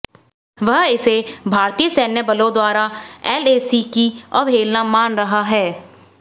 वह इसे भारतीय सैन्य बलों द्वारा एलएसी की अवहेलना मान रहा है